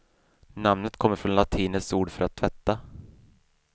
Namnet kommer från latinets ord för att tvätta.